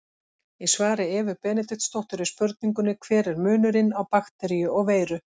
Í svari Evu Benediktsdóttur við spurningunni Hver er munurinn á bakteríu og veiru?